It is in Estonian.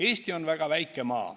Eesti on väga väike maa.